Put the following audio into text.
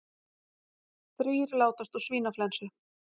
Þrír látast úr svínaflensu